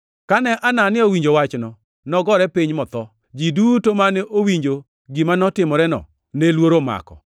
Kane Anania owinjo wachno, nogore piny motho. Ji duto mane owinjo gima notimoreno ne luoro omako.